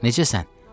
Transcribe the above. Necəsən?